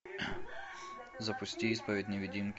запусти исповедь невидимки